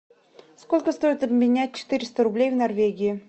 сколько стоит обменять четыреста рублей в норвегии